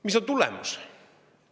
Mis on tulemus?